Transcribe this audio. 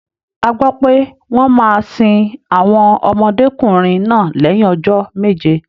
A gbọ́ pé wọ́n máa sin àwọn ọmọdékùnrin náà lẹ́yìn ọjọ́ méje.